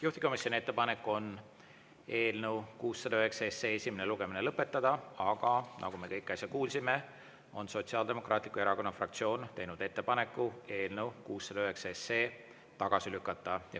Juhtivkomisjoni ettepanek on eelnõu 609 esimene lugemine lõpetada, aga nagu me kõik äsja kuulsime, on Sotsiaaldemokraatliku Erakonna fraktsioon teinud ettepaneku eelnõu 609 tagasi lükata.